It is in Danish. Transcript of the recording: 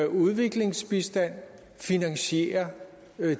udviklingsbistand finansiere